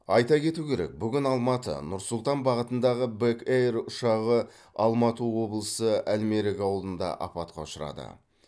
айта кету керек бүгін алматы нұр сұлтан бағытындағы бэк эйр ұшағы алматы облысы әлмерек ауылында апатқа ұшырады